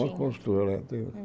Era uma construtora. Ela tem